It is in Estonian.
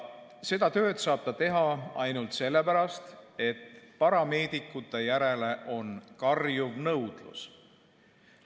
Seda saab ta teha ainult sellepärast, et parameedikute järele on karjuv nõudlus.